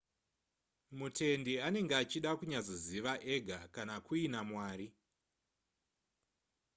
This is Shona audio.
mutendi anenge achida kunyatsoziva ega kana kuina mwari